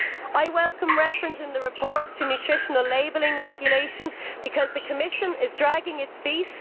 I welcome the reference in the report to a nutritional labelling regulation, because the Commission is dragging its feet.